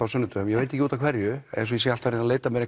á sunnudögum ég veit ekki út af hverju eins og ég sé alltaf að leita mér